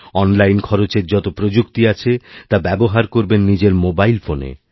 অনলাইনখরচের যত প্রযুক্তি আছে তা ব্যবহার করবেন নিজের মোবাইল ফোনে